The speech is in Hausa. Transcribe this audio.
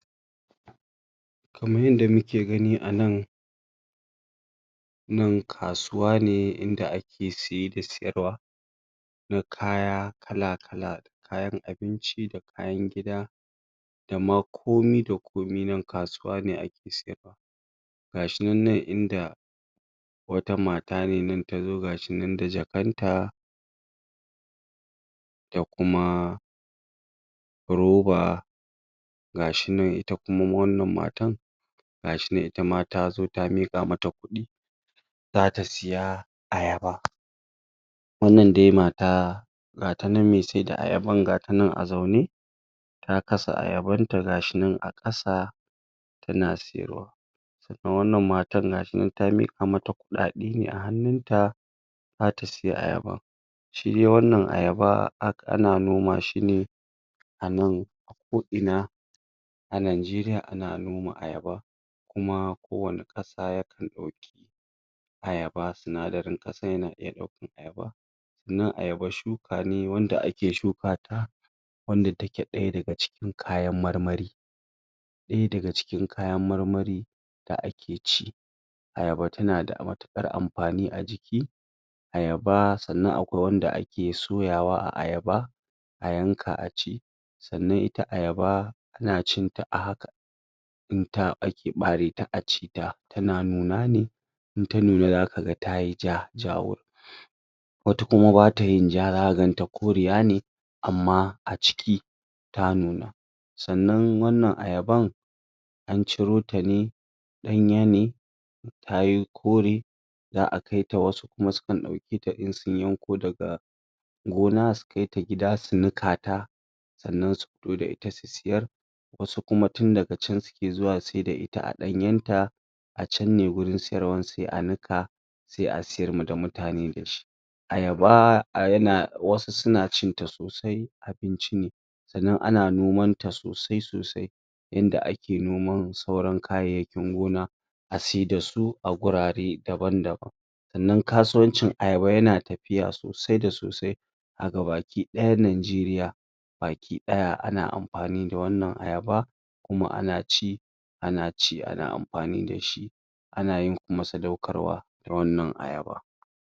kaman yanda muke gani a nan nan kasuwa ne inda ake siye da siyarwa da kaya kala kala da kayan abinci da kayan gida da ma komi da komi nan kasuwa ne ake saida gashinan inda wata mata ne nan tazo gashinan da jakanta da kuma roba gashinan ita kuma wannan matan gashinan itama ta zo ta miƙa mata kuɗi zata siya ayaba wannan dai mata gatanan mai saida ayaban gata nan a zaune ta kasa ayaban ta gashinan a ƙasa tana siyarwa da wannan matan gata nan ta miƙa mata kuɗaɗe ne a hannun ta zata siya ayaba shidai wannan ayaba a ana noma shi ne a nan ko ina a najeriya ana noma ayaban kuma ko wani ƙasa yake ɗauka ayaba sinadaran ƙasan na iya ɗaukan ayaba nan ayaba shuka ne wanda ake shuka ta wanda take ɗaya daga cikin kayan marmari aya daga cikin kayan marmari da ake ci ayaba tana da matuƙar amfani a jiki ayaba sannan akwai wanda ake soyawa a ayaba a yanka a ci sannan ita ayaba ana cinta a haka inda ake ɓareta a ci ta tana nuna ne inta nuna zaka ga tayi ja jawur wata kuma bata yin ja zaka ganta koriya ne amma a ciki ta nuna sannan wannan ayaban an cirota ne ɗanya ne ta yo kore za'a kaita wasu kuma sukan ɗan kaita in sun yanko daga gona su kaita gida su nikata sannan su fito dsa ita su siyar wasu kuma tun daga can suke zuwa siyar da ita a ɗanyen ta acan ne wurin siyarwan sai a nika sai a siyar da ma mutane da shi ayaba yana wasu suna cinta sosai abinci ne sannan ana noman ta sosai sosai inda ake noman sauran kayayyakin noma a ci dasu a wurare daban daban sannan kasuwancin ayaba yana tafiya sosai da sosai a gaba ki ɗ ayan najeriya baki ɗ aya ana amfani da wannan ayaba kuma ana ci ana ci ana amfani da shi ana yin kuma sadaukarwa na wannan ayaba